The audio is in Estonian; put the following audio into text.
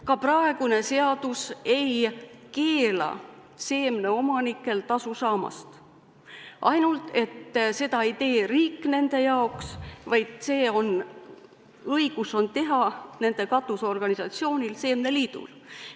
Ka praegune seadus ei keela seemneomanikel tasu saada, ainult et seda ei tee riik nende jaoks, vaid see õigus on nende katusorganisatsioonil seemneliidul.